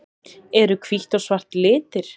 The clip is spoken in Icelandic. Eru hvítt og svart litir?